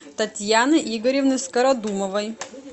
татьяны игоревны скородумовой